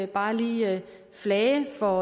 bare lige flage for